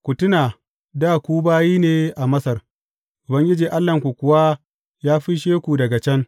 Ku tuna dā ku bayi ne a Masar, Ubangiji Allahnku kuwa ya fisshe daga can.